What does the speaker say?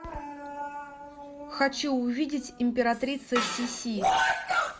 хочу увидеть императрица сиси